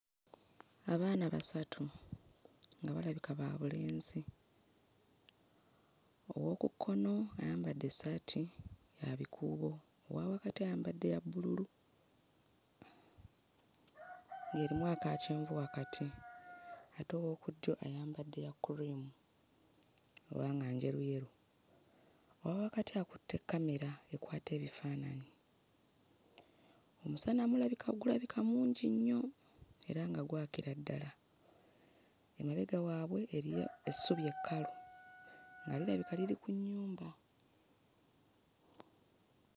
Abaana basatu nga balbika ba bulenzi. Ow'oku kkono ayambadde essaati ya bikuubo, owa wakati ayambadde ya bbululu ng'erimu aka kyenvu wakati ate ow'oku ddyo ayambadde ya kkuliimu oba nga njeruyeru. Owa wakati akutte kkamera ekwata ebifaananyi; omusana gulabika mungi nnyo era nga gwakira ddala. Emabega waabwe eriyo essubi ekkalu nga lirabika liri ku nnyumba.